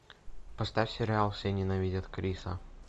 поставь сериал все ненавидят криса